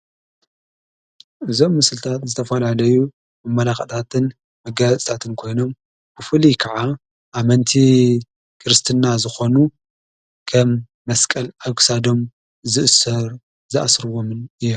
እዞም ምሥልታትን ዝተፈልኣለዩ ኣመላኽታትን መጋእጻጣትን ኮይኖም ብፉል ከዓ ኣመንቲ ክርስትና ዝኾኑ ኸም መስቀል ኣጕሳዶም ዝእሠር ዝኣሥርዎምን እየ።